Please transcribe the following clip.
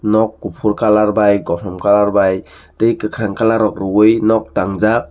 nok kufur kalar bai twi kosom kalar bi twi kakrang kalar ruwi nok tang jak.